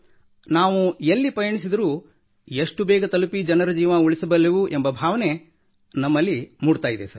ನಾವು ಎಲ್ಲಿಗೆ ಪಯಣಿಸಿದರೂ ಎಷ್ಟು ಬೇಗ ತಲುಪಿ ಜನರ ಜೀವ ಉಳಿಸಬಲ್ಲೆವು ಎಂಬ ಭಾವನೆ ನಮ್ಮಲ್ಲಿ ಮೂಡುತ್ತದೆ ಸರ್